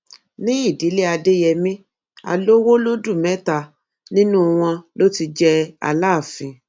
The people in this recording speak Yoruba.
ní ìdílé adéyẹmi alowolódù mẹta nínú wọn ló ti jẹ aláàfin